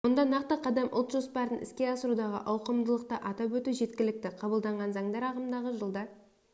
мұнда нақты қадам ұлт жоспарын іске асырудағы ауқымдылықты атап өту жеткілікті қабылданған заңдар ағымдағы жылда